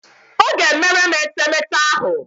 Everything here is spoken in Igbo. Ọ ga-emere m etemeete ahụ.